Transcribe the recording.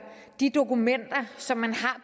de dokumenter som man